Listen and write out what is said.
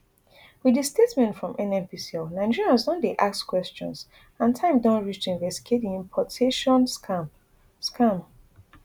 wit di statement from nnpcl nigerians don dey ask questions and time don reach to investigate di importation scam scam